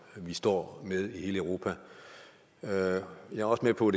vi står med i hele europa jeg er også med på